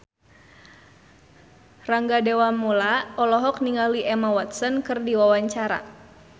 Rangga Dewamoela olohok ningali Emma Watson keur diwawancara